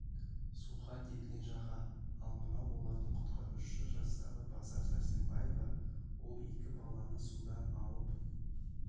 суға кеткен жаға ал мынау олардың құтқарушысы жастағы базар сәрсенбаева ол екі баланы судан алып